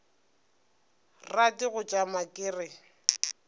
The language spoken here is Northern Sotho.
rate go tšama ke re